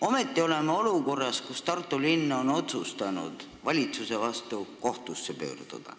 Ometi oleme olukorras, kus Tartu linn on otsustanud valitsuse vastu kohtusse pöörduda.